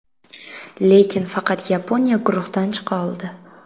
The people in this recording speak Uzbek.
Lekin faqat Yaponiya guruhdan chiqa oldi.